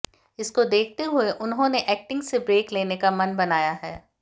इसको देखते हुए उन्होंने एक्टिंग से ब्रेक लेने का मन बनाया है